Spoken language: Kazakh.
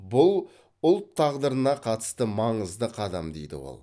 бұл ұлт тағдырына қатысты маңызды қадам дейді ол